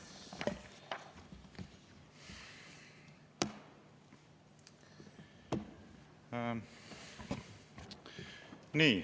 Aitäh!